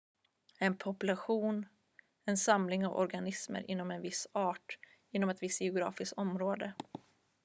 en population en samling av organismer inom en viss art inom ett visst geografiskt område